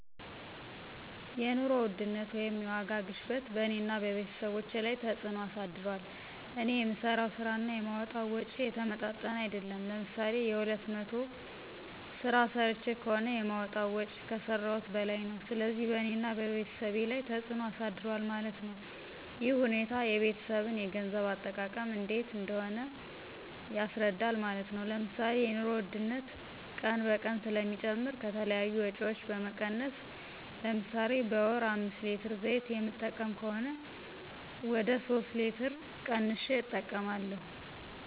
የኑሮ ውድነት (የዋጋ ግሽበትን በእኔና በቤተሰቦቸ ላይ ተፅዕኖ አሳድሯል። እኔ የምሠራው ስራ እና የማወጣዉ ወጭ የተመጣጠነ አይደለም። ለምሳሌ የሁለት መቶ ስራ ሰርቸ ከሆነ የማወጣው ወጭ ከሰረውት በላይ ነው። ስለዚህ በእኔና በቤተሰብ ላይ ተፅዕኖ አሳድሯል ማለት ነው። ይህ ሁኔታ የቤተሰብን የገንዘብ አጠቃቀም እንዴት እንደሆነ ያስረዳል ማለት ነው። ለምሳሌ የኑሮ ውድነት ቀን በቀን ስለሚጨምር ከተለያዩ ወጭዎች በመቀነስ ለምሳሌ በወር አምስት ሌትር ዘይት የምጠቀም ከሆነ ወደ ሶስት ሌትር ቀንሸ እጠቀማለሁ።